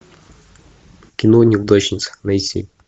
кино неудачница найти